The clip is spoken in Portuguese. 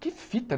Que fita?